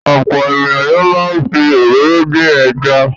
Ọ̀pọ̀ ènìyàn ló máa ń fi òróró dín ẹja.